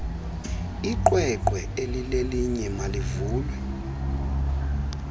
iqweqwe elilelinye malivulwe